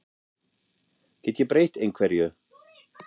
Get ég breytt einhverju?